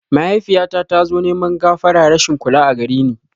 Mahaifiyyata tazo neman gafara rashin kula agareni